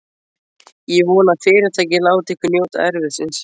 Ég vona, að Fyrirtækið láti ykkur njóta erfiðisins.